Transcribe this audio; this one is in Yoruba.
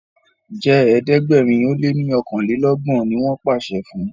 jé ẹ̀ẹ́dẹ̀gbẹ̀rin o lẹ ní okanlelogbon! ní wón pàṣẹ fún.